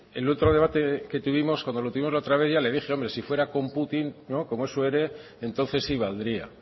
el otro debate que tuvimos cuando lo tuvimos la otra vez ya le dije hombre si fuera con putin como es su héroe entonces sí valdría